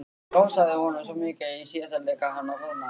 Hrósaði honum svo mikið í síðasta leik að hann roðnaði.